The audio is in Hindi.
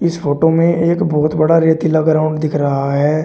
इस फोटो में एक बहोत बड़ा रेतीला ग्राउंड दिख रहा है।